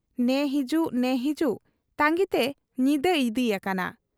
ᱱᱮ ᱦᱤᱡᱩᱜ ᱱᱮ ᱦᱤᱡᱩᱜ ᱛᱟᱺᱜᱤᱛᱮ ᱧᱤᱫᱟᱹ ᱤᱫᱤ ᱭᱟᱠᱟᱱᱟ ᱾